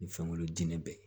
Ni fɛnkolon den bɛ yen